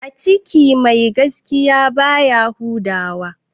A ciki mai gaskiya baya huda wa